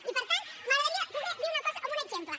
i per tant m’agradaria poder dir una cosa amb un exemple